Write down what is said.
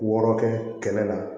Wɔɔrɔ kɛ kɛnɛ na